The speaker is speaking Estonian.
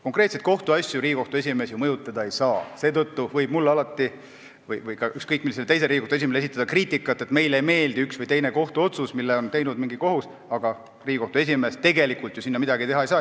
Konkreetseid kohtuasju Riigikohtu esimees mõjutada ei saa, seetõttu võib küll alati mulle või ükskõik millisele teisele Riigikohtu esimehele esitada kriitikat, et meile ei meeldi üks või teine kohtuotsus, mille on teinud mingi kohus, aga Riigikohtu esimees tegelikult seal midagi teha ei saa.